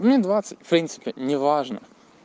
мне двадцать в принципе неважно